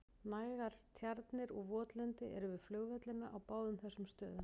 Nægar tjarnir og votlendi eru við flugvellina á báðum þessum stöðum.